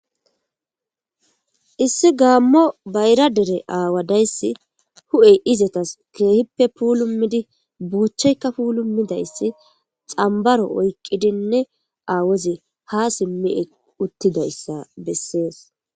Issi gaammo bayra dere aawadayssi hu'ey izatas keehippe puulumidi buuchaykka puulumidayssi xambaro oykqidinne aawozi ha simmi uttidayssa bessees.